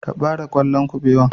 Ka ɓare ƙwallon kabewan.